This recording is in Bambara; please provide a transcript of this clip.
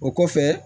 O kɔfɛ